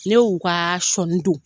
Ne y'u ka sɔni don.